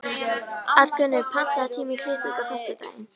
Arngunnur, pantaðu tíma í klippingu á föstudaginn.